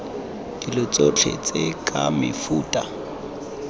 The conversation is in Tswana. dilo tsotlhe tse ke mefuta